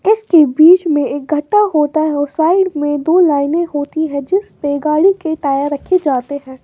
इसके बीच में एक गड्डा होता है और साइड में दो लाइनें होती है जिस पे गाड़ी के टायर रखे जाते हैं।